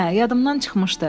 Hə, yadımdan çıxmışdı.